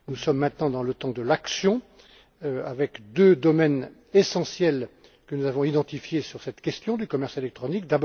Nous sommes maintenant dans le temps de l'action, avec deux domaines essentiels que nous avons identifiés sur cette question du commerce électronique.